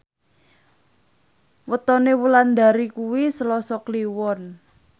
wetone Wulandari kuwi Selasa Kliwon